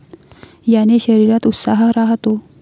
याने शरीरात उत्साह राहतो.